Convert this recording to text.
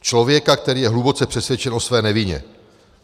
Člověka, který je hluboce přesvědčen o své nevině.